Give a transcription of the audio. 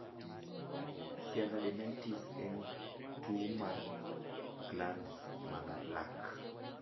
Sialadenitis en tuwo mar glandes mag lak.